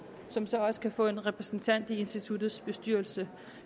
som så også kan få en repræsentant i instituttets bestyrelse